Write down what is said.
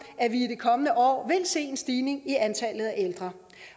at vi i kommende år vil se en stigning i antallet af ældre